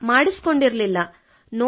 ಇಲ್ಲ ಮಾಡಿಸಿಕೊಂಡಿರಲಿಲ್ಲ